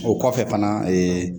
O kɔfɛ fana